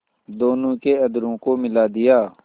दोनों के अधरों को मिला दिया